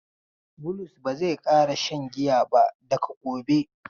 Bulus ba zai ƙara shan giya ba daga gobe.